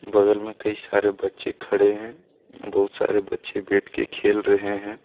बगल में कई सारे बच्चे खड़े हैं बहुत सारे बच्चे बैठ के खेल रहे है।